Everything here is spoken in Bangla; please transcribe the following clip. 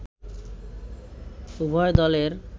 উভয় দলের